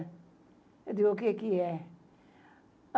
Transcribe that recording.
Eu disse, o que que é?